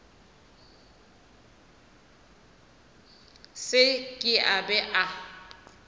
se ke a be a